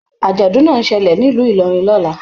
Ajọdun náà n ṣẹlẹ nílu Ilorin lọla.